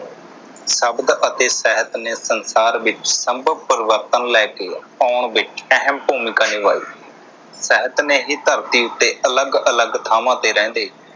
ਸ਼ਬਦ ਅਤੇ ਸਾਹਿਤ ਨੇ ਸੰਸਾਰ ਵਿਚ ਸੰਭਵ ਪਰਿਵਰਤਨ ਲੈ ਕੇ ਆਉਣ ਵਿਚ ਅਹਿਮ ਭੂਮਿਕਾ ਨਿਭਾਈ। ਸਾਹਿਤ ਨੇ ਹੀ ਧਰਤੀ ਉਤੇ ਅਲੱਗ ਅਲੱਗ ਥਾਵਾਂ ਉਤੇ ਰਹਿੰਦੇ